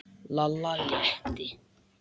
Lalla létti.